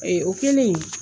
Ee o kelen